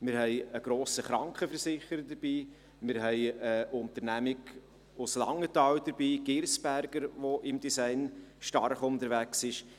Wir haben einen grossen Krankenversicherer dabei, wir haben eine Unternehmung aus Langenthal dabei, die Girsberger AG, die im Design stark unterwegs ist;